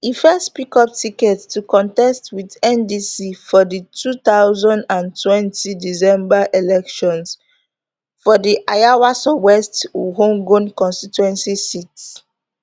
e first pick up ticket to contest wit ndc for di two thousand and twenty december elections for di ayawaso west wuogon constituency seat